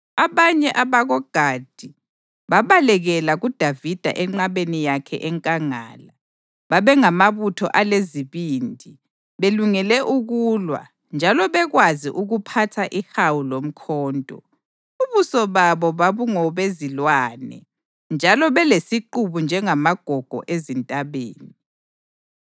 Abanye abakoGadi babalekela kuDavida enqabeni yakhe enkangala. Babengamabutho alezibindi, belungele ukulwa njalo bekwazi ukuphatha ihawu lomkhonto. Ubuso babo babungobezilwane, njalo belesiqubu njengamagogo ezintabeni.